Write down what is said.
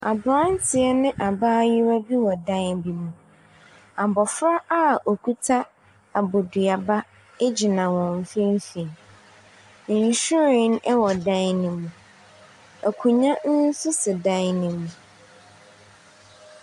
Abranteɛ ne abaayaa bi wɔ dan bi mu. Abɔfra a ɔkuta abaduaba gyina wɔn mfimfini. Nhwiren wɔ ɛdan no mu. Akonnwa nso si dan no mu.